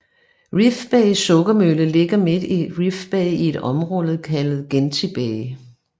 Reef Bay Sukkermølle ligger midt i Reef Bay i et område kaldet Genti Bay